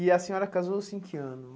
E a senhora casou-se em que ano?